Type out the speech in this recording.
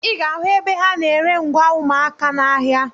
Ị ga-ahụ ebe ha na-ere ngwa ụmụaka n'ahịa.